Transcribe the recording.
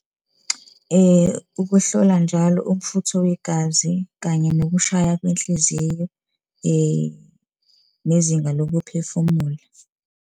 Ukuhlola njalo umfutho wegazi, kanye nokushaya kwenhliziyo, nezinga lokuphefumula.